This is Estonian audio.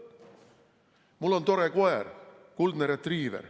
Mul on tore koer, kuldne retriiver.